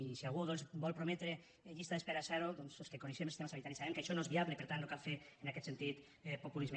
i si algú vol prometre llista d’espera zero els que coneixem el sistema sanitari sabem que això no és viable i per tant no cal fer en aquest sentit populisme